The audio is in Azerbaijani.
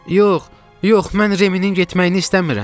Yox, yox mən Reminin getməyini istəmirəm.